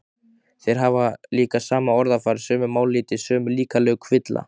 Þeir hafa líka sama orðafar, sömu mállýti, sömu líkamlegu kvilla.